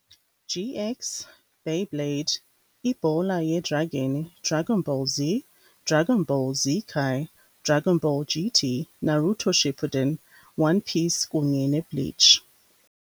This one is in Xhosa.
GX, Beyblade, Ibhola yedragini, Dragonball Z, Dragonball Z Kai, Dragonball GT, Naruto Shippuden, One Piece kunye neBleach.